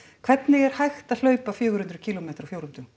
hvernig er hægt að hlaupa fjögurhundruð kílómetra